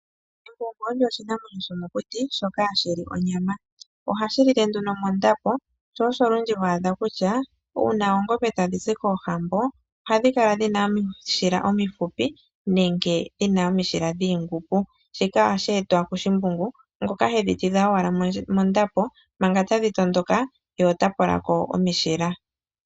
Embungu olyo oshinamwenyo shomokuti shoka hashi li onyama. Ohashi lile nduno mondapo. Sho osho olundji ho adha kutya uuna oongombe tadhi zi koohambo ohadhi kala dhina omishila omifupi nenge omishila dhiingumbu. Shika ohashi etwa kushimbungu ngoka hedhi tidha owala mondapo manga tadhi tondoka ye ota pola ko omishila.